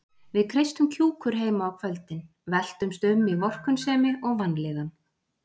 Við kreistum kjúkur heima á kvöldin, veltumst um í vorkunnsemi og vanlíðan.